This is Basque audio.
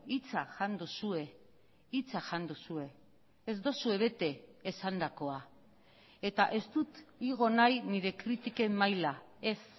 hitza jan duzue hitza jan duzue ez duzue bete esandakoa eta ez dut igo nahi nire kritiken maila ez